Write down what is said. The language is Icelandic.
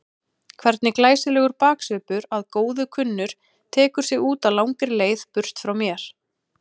Hvernig glæsilegur baksvipur að góðu kunnur tekur sig út á langri leið burt frá mér.